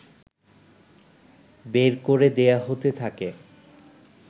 বের করে দেয়া হতে থাকে